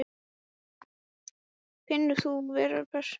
Finnur þú fyrir pressunni?